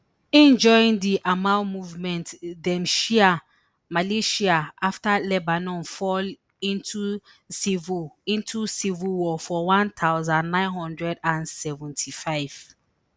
im join di amal movement den shia militia afta lebanon fall into civil into civil war for one thousand, nine hundred and seventy-five